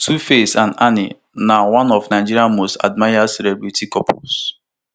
tuface and annie na one of nigeria most admired celebrity couples